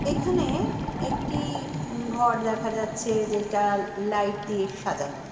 এখানে-এ একটি-ই উম ঘর দেখা যাচ্ছে যেটা লাইট দিয়ে সাজানো।